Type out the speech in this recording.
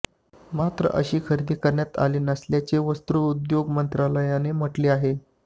मात्र अशी खरेदी करण्यात आली नसल्याचे वस्त्रोद्योग मंत्रालयाने म्हटले आहे